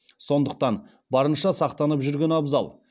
сондықтан барынша сақтанып жүрген абзал